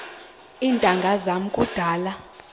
iintanga zam kudala